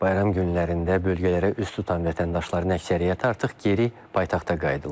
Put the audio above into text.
Bayram günlərində bölgələrə üz tutan vətəndaşların əksəriyyəti artıq geri paytaxta qayıdırlar.